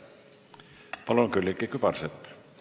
Palun, Külliki Kübarsepp!